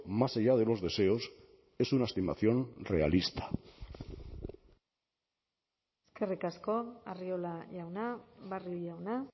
más allá de los deseos es una estimación realista eskerrik asko arriola jauna barrio jauna